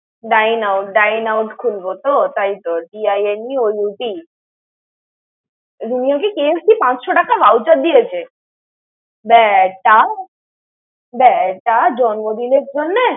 Dineout, Dineout খুলবো তো তাই D I N E O U T । রুমিওকে KFC পাঁচশো টাকা vouvher দিয়েছে. দেখ তাও, তাও জন্মদিনের জন্যে।